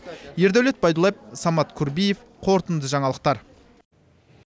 ердәулет байдуллаев самат курбиев қорытынды жаңалықтар